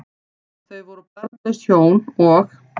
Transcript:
Þau voru barnlaus hjón, og